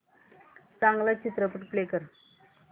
चांगला चित्रपट प्ले कर